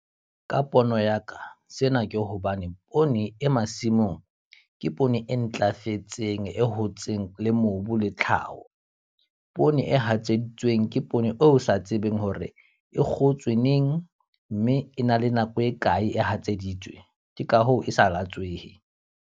Ka pono ya ka, sena ke hobane poone e masimong ke poone e ntlafetseng, e hotseng le mobu le tlhaho. Poone e hatseditsweng ke poone o sa tsebeng hore e kgotswe neng, mme e na le nako e kae e hatseditsweng, ke ka hoo e sa latswehe.